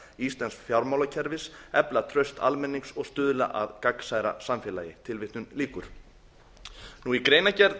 íslensks fjármálakerfis efla traust almennings og stuðla að gagnsærra samfélagi í greinargerð